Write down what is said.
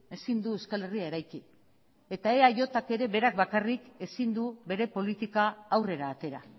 ezin du euskal herria eraiki eta eajk ere berak bakarrik ezin du bere politika aurrera atera